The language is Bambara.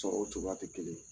Sɔrow cogoya tɛ kelen ye